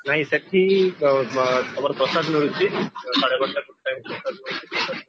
ନାଇ ସେଠି ତମର ପ୍ରଶାସନ ରହିଛି ସାଢେ ବାରଟା ଗୋଟେ